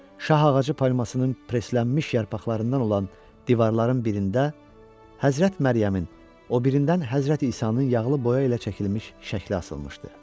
Şah ağacı palmasının presslənmiş yarpaqlarından olan divarların birində Həzrət Məryəmin, o birindən Həzrət İsanın yağlı boya ilə çəkilmiş şəkli asılmışdı.